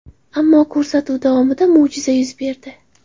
Ammo ko‘rsatuv davomida mo‘jiza yuz berdi.